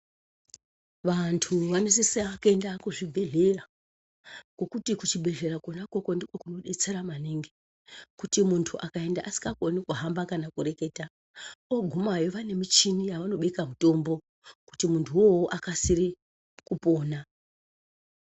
Vantu vanosisa kuenda kuzvibhedhleya ngokuti kuchibhedhleya kona ukoko ndiko kunodetsera maningi. Kuti muntu akaenda asikakoni kuhamba kana kureketa, oogumayo vane michini yavanobeka mutombo kuti muntuwowo akasire kupona.